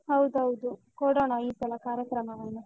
ಹೌದೌದು. ಕೊಡೋಣ ಈ ಸಲ ಕಾರ್ಯಕ್ರಮವನ್ನು.